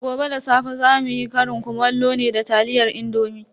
Gobe da safe zamu yi ƙarin kumallo ne da taliyar indomi.